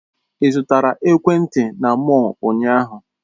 Ị zụtara ekwentị na mọll ụnyaahụ?